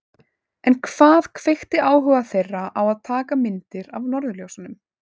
En hvað kveikti áhuga þeirra á að taka myndir af norðurljósum?